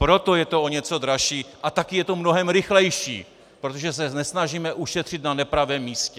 Proto je to o něco dražší a taky je to mnohem rychlejší, protože se nesnažíme ušetřit na nepravém místě.